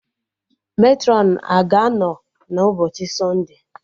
Matrọn a ga-anọ n'ụbọchị sọnde?